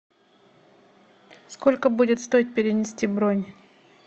сколько будет стоить перенести бронь